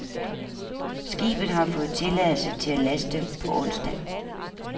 Skibet har fået tilladelse til at laste på onsdag.